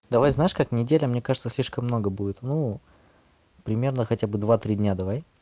давай знаешь как неделя мне кажется слишком много будет ну примерно хотя бы два три дня давай